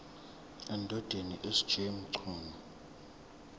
endodeni sj mchunu